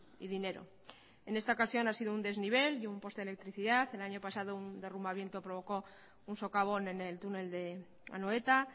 y dinero en esta ocasión ha sido un desnivel y un poste de electricidad el año pasado un derrumbamiento provocó un socavón en el túnel de anoeta